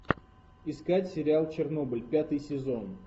искать сериал чернобыль пятый сезон